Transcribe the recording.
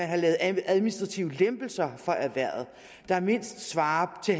har lavet administrative lempelser for erhvervet der mindst svarer til